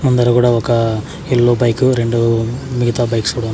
ముందర గుడా ఒక ఎల్లో బైకు రెండు మిగతా బైక్స్ కూడా ఉన్--